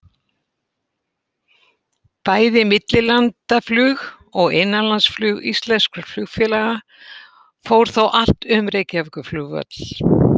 Bæði millilandaflug og innanlandsflug íslenskra flugfélaga fór þá allt um Reykjavíkurflugvöll.